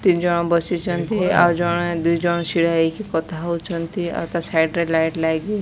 ତିନିଜଣ ବସିଛନ୍ତି ଆଉ ଜଣେ ଦୁଇଜଣ ଛିଡ଼ା ହେଇକି କଥା ହଉଚନ୍ତି। ଆଉ ତା ସାଇଟ୍ ରେ ଲାଇଟ୍ ଲାଗିଚି।